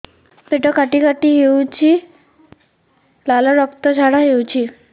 ପେଟ କାଟି କାଟି ହେଉଛି ଲାଳ ରକ୍ତ ଝାଡା ହେଉଛି